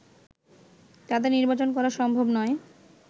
তাতে নির্বাচন করা সম্ভব নয়